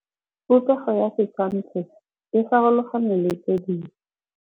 Popêgo ya setshwantshô se, e farologane le tse dingwe.